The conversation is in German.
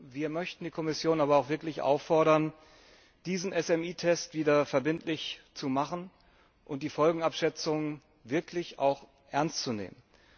Wir möchten die Kommission aber auch wirklich auffordern, diesen KMU Test wieder verbindlich zu machen und die Folgenabschätzung wirklich ernst zu nehmen.